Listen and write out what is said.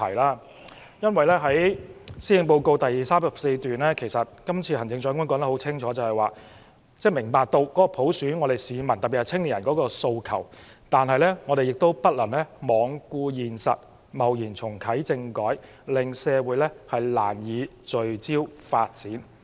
行政長官施政報告第34段清楚指出，行政長官明白市民對普選的訴求，但她也不能罔顧現實，貿然重啟政改，令社會難以聚焦發展。